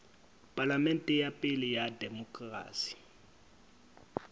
palamente ya pele ya demokerasi